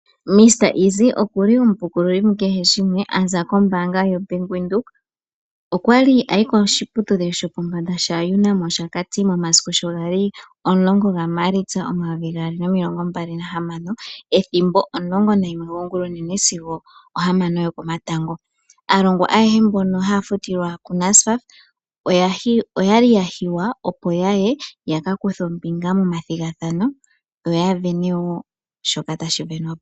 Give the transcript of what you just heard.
Mr Easy oku li omupukululi mu kehe shimwe a za kombaanga yoBank Windhoek. Okwa li a yi koshiputudhilo shopombanda shaUNAM Oshakati momasiku sho ga li 10 gaMaalitsa 2026, ethimbo omulongo nayimwe gongulonene sigo one komatango. Aalongwa ayehe mbono haya futilwa kuNSFAF oya li ya hiywa, opo ya ye ya ka kuthe ombinga momathigathano yo ya sindane woo shoka tashi sindanwa po.